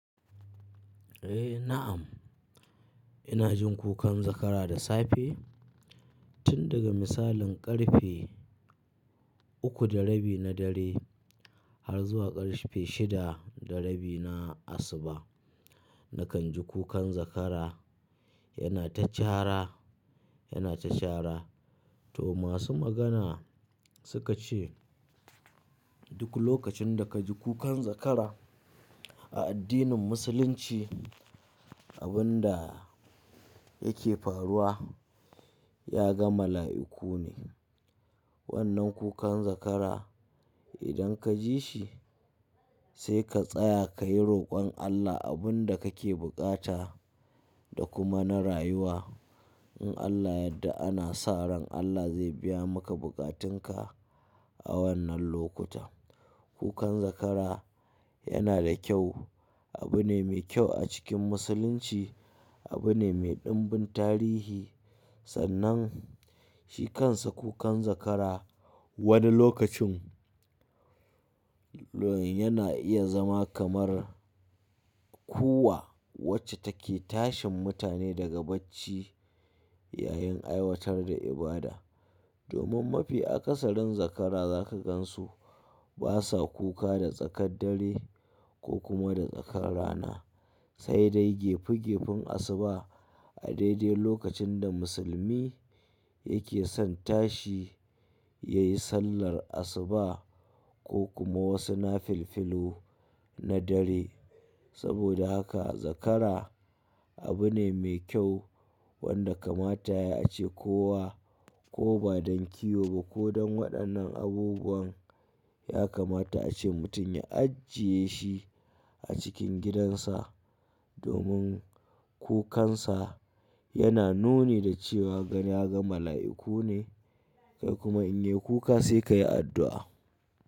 Eh na'am, ina jin kukan zakara da safe tun daga misalin ƙarfe uku da rabi na dare har zuwa ƙarfe shida da rabi na asuba na kan ji kukan zakara yana ta cara, yana ta cara. To masu magana suka ce duk lokacin da ka ji kukan zakara a addinin musulunci, abun da yake faruwa ya ga mala'iku ne. Wannan kukan zakara idan ka ji shi sai ka tsaya ka yi roƙon Allah, abun da kake bukata da kuma na rayuwa. In Allah ya yadda ana sa ran Allah zai biya maka bukatanka a wannan lokuta. Kukan zakara yana da kyau, abu ne mai kyau a cikin musulunci, abu ne mai ɗimbin tarihi. Sannan shi kansa kukan zakara wani lokacin l-yana iya zama kamar kuwwa wacce take tashin mutane daga bacci yayin aiwatar da ibada. Domin mafi akasarin zakara zaka gan su basa kuka da tsakar dare ko kuma da tsakar rana, sai dai gefe-gefen asuba a daidai lokacin da musulmi yake son tashi ya yi sallar asuba ko kuma wasu nafilfilu na dare. Saboda haka zakara abu ne mai kyau wanda kamata yai a ce kowa ko ba don kiwo ba ko don waɗannan abubuwan ya kamata a ce mutum ya ajiye shi a cikin gidansa domin kukansa yana nuni da cewa gani ya ga mala'iku ne. Kuma in yai kuka sai ka yi addu'a.